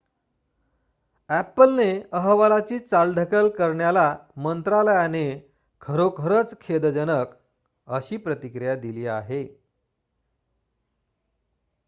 "अ‍ॅपलने अहवालाची चाल ढकल करण्याला मंत्रालयाने "खरोखर खेदजनक" अशी प्रतिक्रिया दिली आहे.